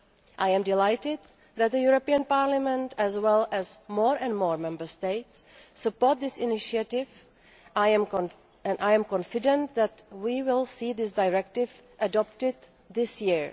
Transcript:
I am delighted that the European Parliament, as well as more and more Member States, support this initiative, and I am confident that we will see this directive adopted this year.